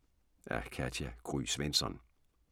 Af Katja Gry Svensson